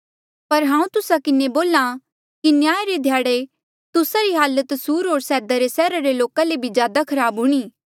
पर हांऊँ तुस्सा किन्हें बोल्हा कि न्याया रे ध्याड़े तुस्सा री हालत सुर होर सैदा रे सैहरा रे लोका ले ज्यादा खराब हूणीं